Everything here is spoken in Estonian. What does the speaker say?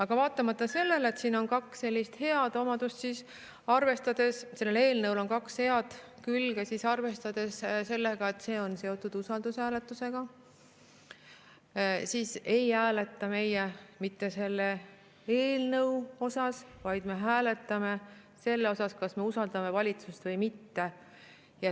Ja vaatamata sellele, et eelnõul on kaks head külge, arvestades sellega, et see on seotud usaldushääletusega, ei hääleta meie mitte selle eelnõu sisu üle, vaid me hääletame selle üle, kas me usaldame valitsust või mitte.